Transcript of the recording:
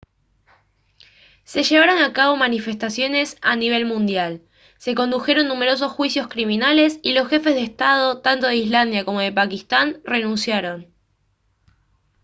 se llevaron a cabo manifestaciones a nivel mundial se condujeron numerosos juicios criminales y los jefes de estado tanto de islandia como de pakistán renunciaron